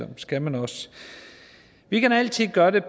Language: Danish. det skal man også vi kan altid gøre det